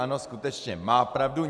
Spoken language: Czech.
Ano, skutečně, má pravdu.